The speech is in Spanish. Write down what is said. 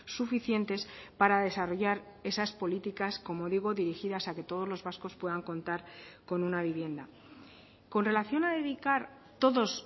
suficientes para desarrollar esas políticas como digo dirigidas a que todos los vascos puedan contar con una vivienda con relación a dedicar todos